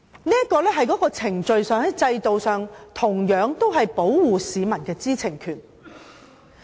這是在程序上、制度上保護市民知情權的措施。